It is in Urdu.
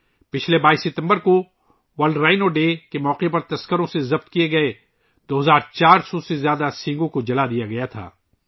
پچھلے سال 22 ستمبر کو گینڈوں کے عالمی دن کے موقع پر اسمگلروں سے پکڑے گئے 2400 سے زائد سینگوں کو جلا دیا گیا تھا